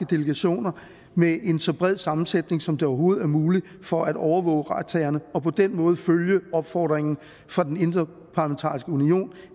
delegationer med en så bred sammensætning som det overhovedet er muligt for at overvåge retssagerne og på den måde følge opfordringen fra den interparlamentariske union